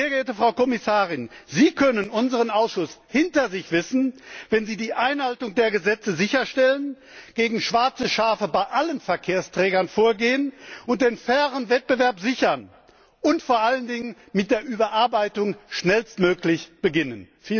Sehr geehrte Frau Kommissarin, Sie können unseren Ausschuss hinter sich wissen, wenn Sie die Einhaltung der Gesetze sicherstellen, gegen schwarze Schafe bei allen Verkehrsträgern vorgehen und den fairen Wettbewerb sichern und vor allen Dingen mit der Überarbeitung schnellstmöglich beginnen.